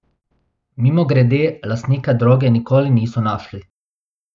Mimogrede, lastnika droge nikoli niso našli.